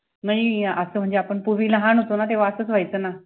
नई असं म्हणजे आपण पुर्वी लहान होतोना तेव्हा असच व्ययचंना